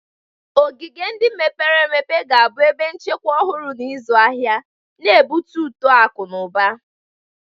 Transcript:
Ogige ndị mepere emepe ga-abụ ebe nchekwa ọhụrụ na ịzụ ahịa, na-ebute uto akụ na ụba.